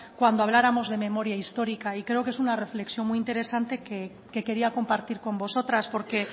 cuando habláramos de memoria histórica y creo que es una reflexión muy interesante que quería compartir con vosotras porque